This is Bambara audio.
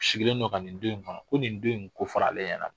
Sigilen don ka nin don in kɔnɔ ko nin don in kofɔfara ale ɲɛna